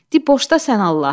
Dib boşda, sən Allah.